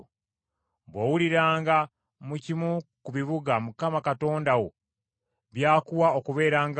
Bw’owuliranga mu kimu ku bibuga Mukama Katonda wo by’akuwa okubeerangamu,